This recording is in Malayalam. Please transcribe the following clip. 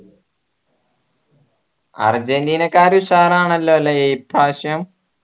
അർജൻറീനക്കാര ഉഷാറാണല്ലോ അല്ലേ ഇപ്രാവശ്യം